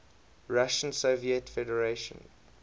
russian soviet federative